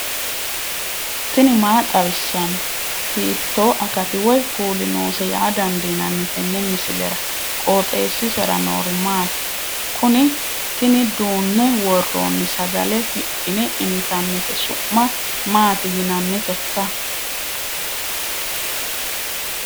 tini maa xawissanno ? hiitto akati woy kuuli noose yaa dandiinanni tenne misilera? qooxeessisera noori maati? kuni tini duunne worronni sagale hidhine intannite su'ma maati yinanniteikka